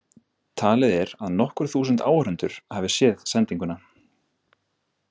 Talið er að nokkur þúsund áhorfendur hafi séð sendinguna.